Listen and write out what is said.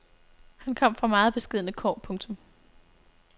Han kom fra meget beskedne kår. punktum